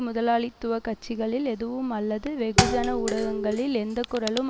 முதலாளித்துவ கட்சிகளில் எதுவும் அல்லது வெகுஜன ஊடகங்களில் எந்தக்குரலும்